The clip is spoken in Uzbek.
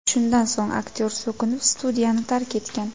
Shundan so‘ng aktyor so‘kinib, studiyani tark etgan.